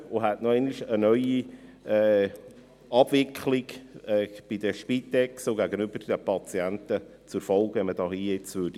Es hätte eine neue Abwicklung bei der Spitex und gegenüber den Patienten zur Folge, wenn man diesen Antrag annähme.